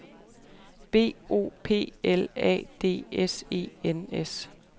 B O P L A D S E N S